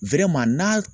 n'a